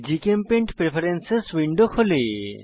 GChemPaint preference window খোলে